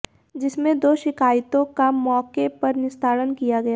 जिसमें दो शिकायतों का मौके पर निस्तारण किया गया